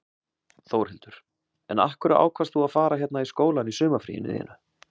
Þórhildur: En af hverju ákvaðst þú að fara hérna í skólann í sumarfríinu þínu?